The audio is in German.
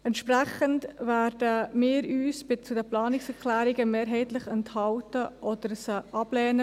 Entsprechend werden wir uns mehrheitlich bei den Planungserklärungen enthalten oder diese ablehnen;